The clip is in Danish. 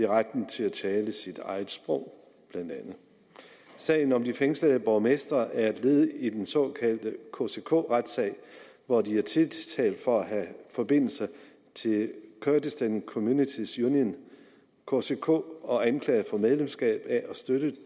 retten til at tale sit eget sprog sagen om de fængslede borgmestre er et led i den såkaldte kck retssag hvor de er tiltalt for at have forbindelser til kurdistan communities union kck og anklaget for medlemskab af og støtte